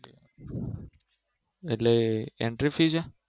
એટલે Entry fee છે